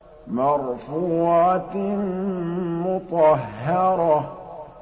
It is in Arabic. مَّرْفُوعَةٍ مُّطَهَّرَةٍ